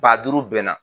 Ba duuru bɛɛ na